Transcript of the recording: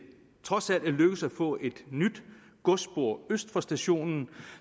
trods alt er lykkedes at få et nyt godsspor øst for stationen